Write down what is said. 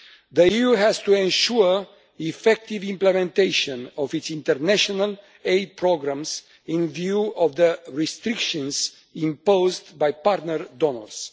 The EU has to ensure the effective implementation of its international aid programmes, in view of the restrictions imposed by partner donors.